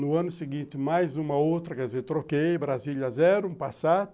No ano seguinte, mais uma outra, quer dizer, troquei, Brasília, zero, um Passat.